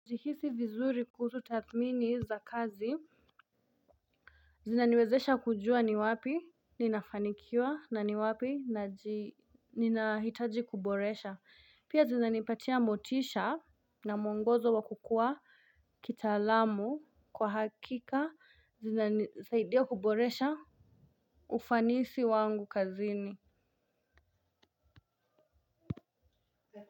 Sihisi vizuri kuhusu tathmini za kazi. Zinaniwezesha kujua ni wapi ninafanikiwa na ni wapi ninahitaji kuboresha. Pia zinanipatia motisha na mwongozo wa kukuwa kitaalamu kwa hakika. Zinanisaidia kuboresha ufanisi wangu kazini.